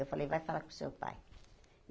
Eu falei, vai falar com o seu pai.